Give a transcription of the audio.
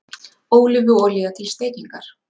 Ólífuolía til steikingar.